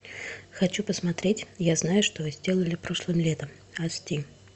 хочу посмотреть я знаю что вы сделали прошлым летом аш ди